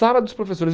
Sala dos professores.